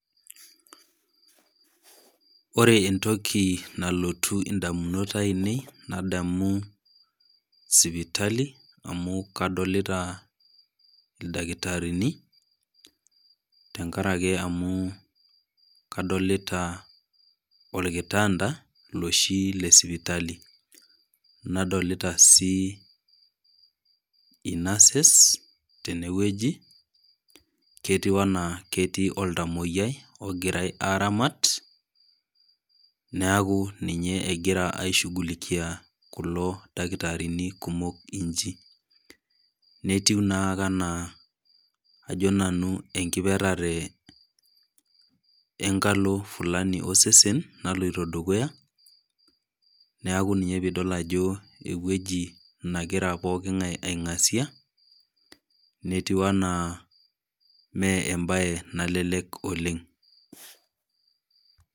Ore entoki nalotu indamunot ainei nademu sipitali amu kadolita ildakitarini, tenkaraki amu, kadolita olkitanda loshi le sipitali, nadolita sii inases tenewueji, ketu anaa ketii oltamwoyiai logirai aaramat, neaku ninye egirai aishughulikia kulo dakitarini kumok inji. Netiu naake anaa enkiperare enkalo fulani osesen naloito dukuya, neaku ninye pee idol ajo ewueji nagira pookingai aing'asia netiu anaa mee embaye nalelek oleng' .